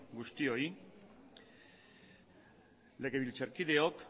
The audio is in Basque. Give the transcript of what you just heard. guztioi legebiltzarkideok